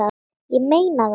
Ég meina það!